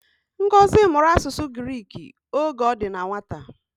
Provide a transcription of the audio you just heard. Ngozi mụrụ asụsụ Giriki oge o di na nwata